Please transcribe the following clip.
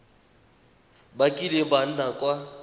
ba kileng ba nna kwa